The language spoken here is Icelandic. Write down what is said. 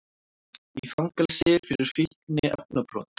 Í fangelsi fyrir fíkniefnabrot